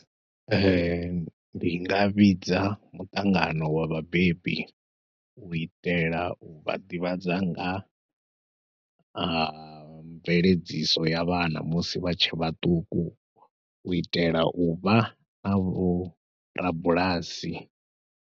Ee, ndi nga vhidza muṱangano wa vhabebi u itela u vha ḓivhadza nga ha mveledziso ya vhana musi vha tshe vhaṱuku u itela u vha na vho rabulasi.